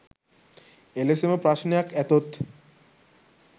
එලෙසම ප්‍රශ්නයක් ඇතොත්